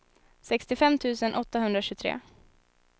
sextiofem tusen åttahundratjugotre